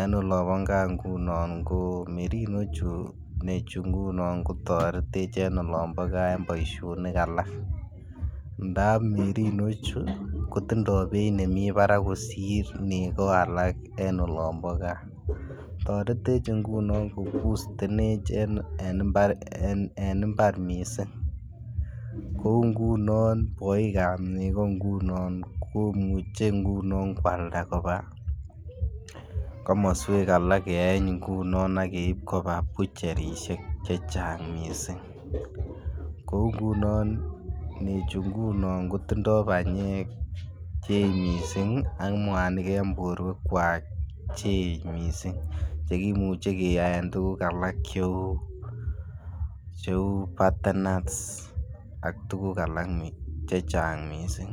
en olombo gaa ngunon ko merino chu nechu ngunon kotoretech en olombo gaa boisionik alak ndap merino chu kotindo beit nemii barak kosir nego alak en olombo gaa, toretech ngunon kobootenech en imbar missing, kouu ngunon boikab nego ngunon komuche kwalda kobaa komoswek alak keeny ngunon ak keib kobaa bucherishek chechang missing kouu ngunon nechu ngunon kotindo banyek che eech missing ak mwanik en borwekwak che eech missing chekimuche keyaen tuguk alak che uu che uu batenans ak tuguk alak chechang missing